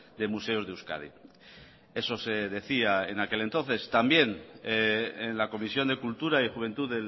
de museos de euskadi eso se decía en aquel entonces también en la comisión de cultura y juventud